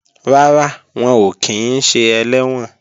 Rárá, wọn ò kí ń ṣe ẹlẹ́wọ̀n